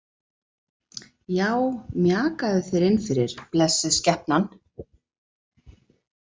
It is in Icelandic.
Já, mjakaðu þér innfyrir, blessuð skepnan.